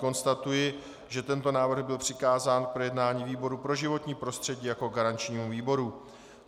Konstatuji, že tento návrh byl přikázán k projednání výboru pro životní prostředí jako garančnímu výboru.